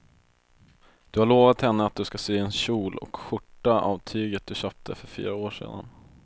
Du har lovat henne att du ska sy en kjol och skjorta av tyget du köpte för fyra år sedan.